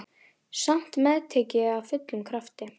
Samt meðtek ég af fullum krafti.